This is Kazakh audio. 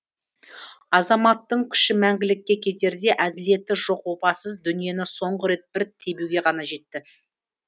азаматтың күші мәңгілікке кетерде әділеті жоқ опасыз дүниені соңғы рет бір тебуге ғана жетті